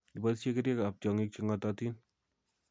Iboisyee kerichekap tyong'ig che ng'atootin